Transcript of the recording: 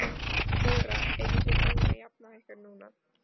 Þóra: Eruð þið búin að jafna ykkur núna?